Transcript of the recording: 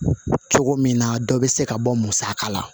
Cogo min na dɔ bɛ se ka bɔ musaka la